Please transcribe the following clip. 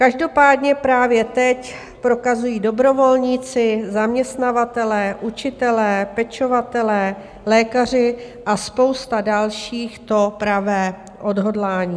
Každopádně právě teď prokazují dobrovolníci, zaměstnavatelé, učitelé, pečovatelé, lékaři a spousta dalších to pravé odhodlání.